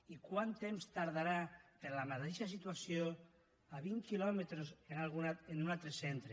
i quant temps tardarà per la mateixa situació a vint quilòmetres en un altre centre